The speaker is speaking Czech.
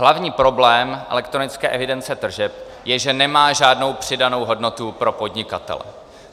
Hlavní problém elektronické evidence tržeb je, že nemá žádnou přidanou hodnotu pro podnikatele.